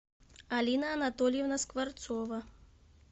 алина анатольевна скворцова